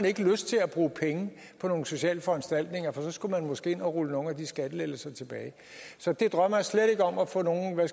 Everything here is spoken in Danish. ikke har lyst til at bruge penge på nogle sociale foranstaltninger for så skulle man måske rulle nogle af de skattelettelser tilbage så jeg drømmer slet ikke om at få nogen